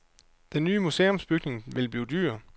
Den nye museumsbygning vil blive dyr.